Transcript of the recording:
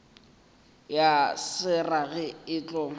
ya se rage e tlo